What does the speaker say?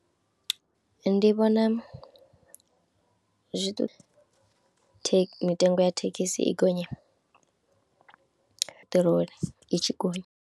Ndi vhona zwithu mitengo ya thekhisi i gonye peṱirolo i tshi gonya.